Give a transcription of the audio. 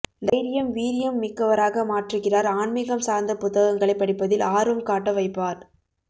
தைரியம் வீரியம் மிக்கவராக மாற்றுகிறாா் ஆன்மீகம் சாா்ந்த புத்தகங்களை படிப்பதில் ஆர்வம் காட்ட வைப்பாா்